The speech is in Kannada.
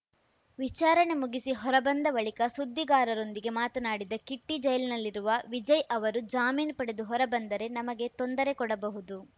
ವಿಚಾರಣೆ ಮುಗಿಸಿ ಹೊರಬಂದ ಬಳಿಕ ಸುದ್ದಿಗಾರರೊಂದಿಗೆ ಮಾತನಾಡಿದ ಕಿಟ್ಟಿ ಜೈಲಿನಲ್ಲಿರುವ ವಿಜಯ್‌ ಅವರು ಜಾಮೀನು ಪಡೆದು ಹೊರಬಂದರೆ ನಮಗೆ ತೊಂದರೆ ಕೊಡಬಹುದು